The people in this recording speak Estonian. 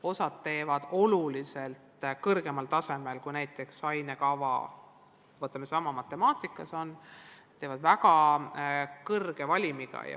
Osa teeb neid oluliselt kõrgemal tasemel, kui näiteks ainekava ette näeb, võtame kas või sellesama matemaatika, ja tehakse väga suure valimiga.